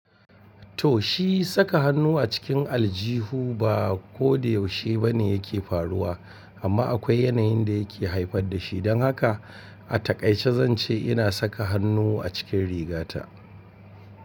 To, shi saka hannu a cikin aljihu ba ko da yaushe ba ne yake faruwa, amma akwai yanayin da yake haifar da shi. Don haka a takaice zan ce ina saka hannu a cikin rigata.